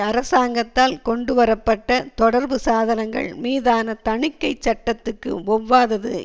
அரசாங்கத்தால் கொண்டுவர பட்ட தொடர்புசாதனங்கள் மீதான தணிக்கை சட்டத்துக்கு ஒவ்வாதது